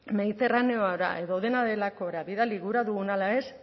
mediterraneora edo dena delakora bidali gura dugun ala ez